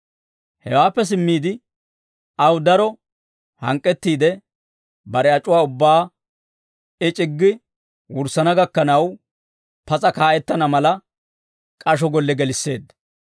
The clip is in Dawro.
Hewaappe simmiide aw daro hank'k'ettiide, bare ac'uwaa ubbaa I c'iggi wurssana gakkanaw, pas'a kaa'ettana mala, k'asho golle gelisseedda.